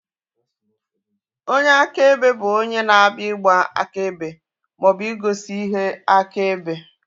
Onyeakebe bụ onye na-abịa ịgba akaebe maọbụ igosi ihe akaebe